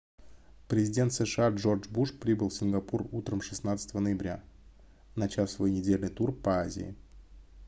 президент сша джордж буш прибыл в сингапур утром 16 ноября начав свой недельный тур по азии